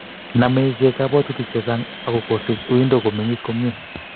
Nome ichek kobwatutik chechang ako kosich uindo komengis komye